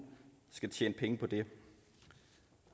skal tjene penge på det